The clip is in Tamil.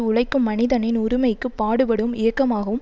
உழைக்கும் மனிதனின் உரிமைக்குப் பாடுபடும் இயக்கமாகவும்